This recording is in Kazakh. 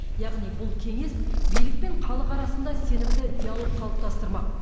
яғни бұл кеңес билік пен халық арасында сенімді диалог қалыптастырмақ